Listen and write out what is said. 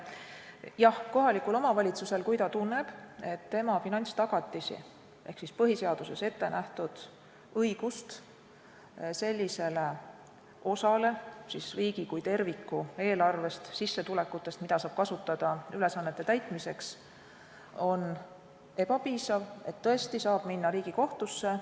Jah, kui kohalik omavalitsus tunneb, et tema finantstagatis ehk põhiseaduses ettenähtud õigus eelarvele seadusega pandud ülesannete täitmiseks, on ebapiisav, siis saab omavalitsus tõesti minna Riigikohtusse.